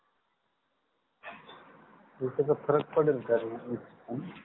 मग त्याच्यात फरक पडेल का दोन दिवस लाऊन